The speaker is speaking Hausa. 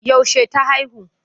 Yaushe ta haihu?